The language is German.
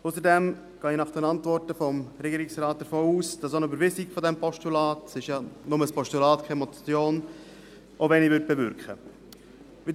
Ausserdem gehe ich nach den Antworten des Regierungsrates davon aus, dass auch eine Überweisung des Postulats – es ist ja nur ein Postulat, keine Motion – wenig bewirken würde.